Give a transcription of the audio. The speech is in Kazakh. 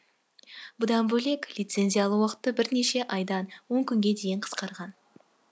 бұдан бөлек лицензия алу уақыты бірнеше айдан он күнге дейін қысқарған